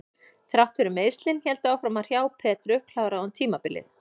Þrátt fyrir að meiðslin héldu áfram að hrjá Petru kláraði hún tímabilið.